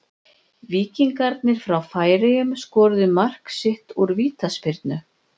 Víkingarnir frá Færeyjum skoruðu mark sitt úr vítaspyrnu.